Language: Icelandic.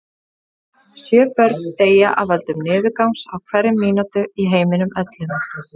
Sjö börn deyja af völdum niðurgangs á hverri mínútu í heiminum öllum.